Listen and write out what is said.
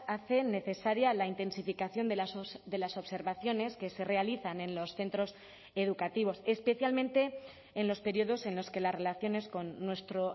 hacen necesaria la intensificación de las observaciones que se realizan en los centros educativos especialmente en los periodos en los que las relaciones con nuestro